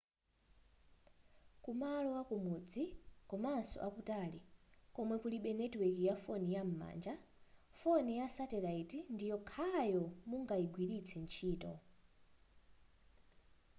kumalo akumudzi komanso akutali komwe kulibe netiweki ya foni yam'manja foni ya satellite ndiyokhayo mungagwilitse ntchito